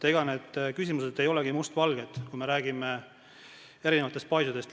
Ega need küsimused ei ole mustvalged, kui me räägime paisudest.